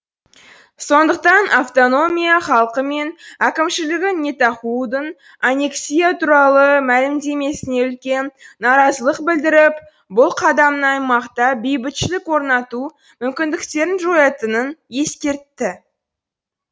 сондықтан автономия халқы мен әкімшілігі нетахудың аллексия туралы мәлімдемесіне үлкен наразылық білдіріп бұл қадамның аймақта бейбітшілік орнату мүмкіндіктерін жоятынын ескертті